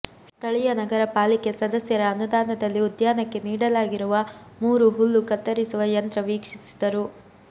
ಸ್ಥಳೀಯ ನಗರ ಪಾಲಿಕೆ ಸದಸ್ಯರ ಅನುದಾನದಲ್ಲಿ ಉದ್ಯಾನಕ್ಕೆ ನೀಡಲಾಗಿರುವ ಮೂರು ಹುಲ್ಲು ಕತ್ತರಿಸುವ ಯಂತ್ರ ವೀಕ್ಷಿಸಿದರು